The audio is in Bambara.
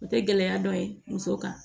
O tɛ gɛlɛya dɔ ye muso kan